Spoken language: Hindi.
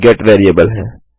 यह गेट वेरिएबल है